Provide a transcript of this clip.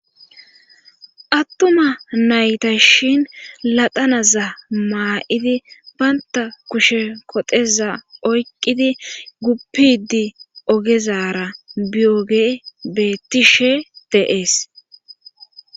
Attuma nayta shin ladanaza maa7idi baynta kushe koteza oyqqidi guppidi ogezara biyoge beettishe de7ees.